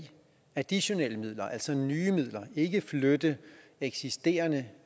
give additionelle midler altså nye midler og ikke flytte eksisterende